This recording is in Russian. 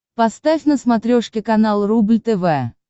поставь на смотрешке канал рубль тв